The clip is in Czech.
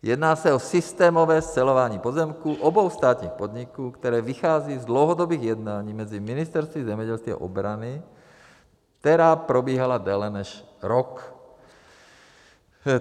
Jedná se o systémové scelování pozemků obou státních podniků, které vychází z dlouhodobých jednání mezi ministerstvy zemědělství a obrany, která probíhala déle než rok.